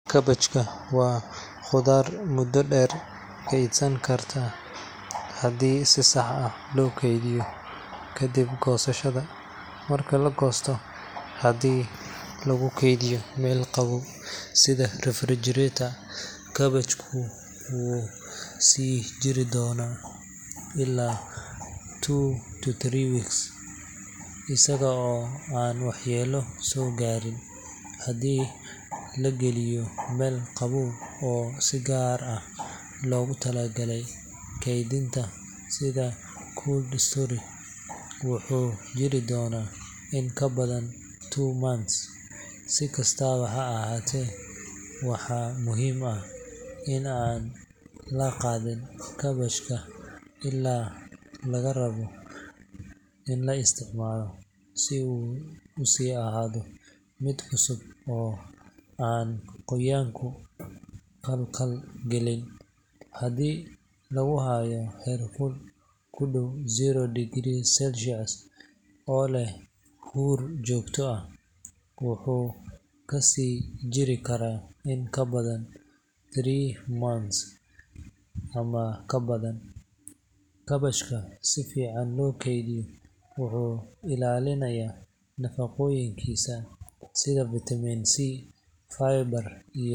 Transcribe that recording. Kaabashku waa khudaar muddo dheer kaydsan karta haddii si sax ah loo keydiyo kadib goosashada. Marka la goosto, haddii lagu kaydiyo meel qabow sida refrigerator, kaabashku wuu sii jiri karaa ilaa two to three weeks isagoo aan waxyeello soo gaarin. Haddii la geliyo meel qabow oo si gaar ah loogu talagalay kaydinta sida cold storage, wuxuu jiri karaa in ka badan two months. Si kastaba ha ahaatee, waxaa muhiim ah in aan la dhaqin kaabashka ilaa laga rabayo in la isticmaalo, si uu u sii ahaado mid cusub oo aan qoyaanku khalkhal gelin. Haddii lagu hayo heerkul ku dhow zero degrees Celsius oo leh huur joogto ah, wuxuu ka sii jiri karaa ilaa three months ama ka badan. Kaabashka si fiican loo keydiyo wuxuu ilaalinayaa nafaqooyinkiisa sida vitamin C, fiber, iyo.